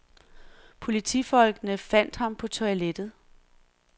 Politifolkene fandt ham på toilettet.